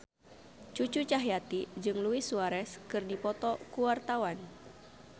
Cucu Cahyati jeung Luis Suarez keur dipoto ku wartawan